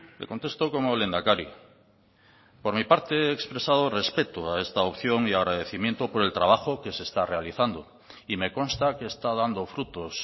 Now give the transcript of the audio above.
le contesto como lehendakari por mi parte he expresado respeto a esta opción y agradecimiento por el trabajo que se está realizando y me consta que está dando frutos